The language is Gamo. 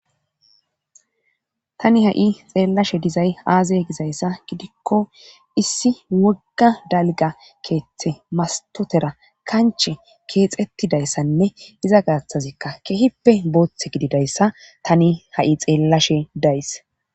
Tani ha7i xeellashe dizay aaze gizayssa gidikko issi wogga dalga keeththe mastotera kanche keexettidayssanne iza gaathazikka kehippe booththe gididayssa tani ha7i xeellashe days.